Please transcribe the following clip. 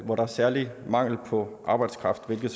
hvor der er særlig mangel på arbejdskraft hvilket